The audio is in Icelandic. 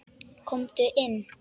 Komdu inn